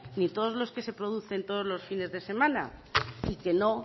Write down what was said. ni todos los que se producen todos los fines de semana y que no